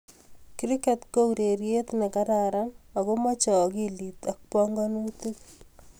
Kriket o urerie ne kararan ako mochei akilit ak bomkonutik.